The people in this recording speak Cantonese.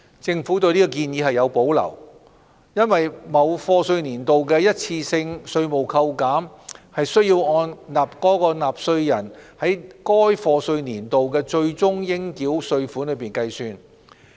政府對此建議有所保留。因為某課稅年度的一次性稅務扣減須按納稅人在該課稅年度的最終應繳稅款計算。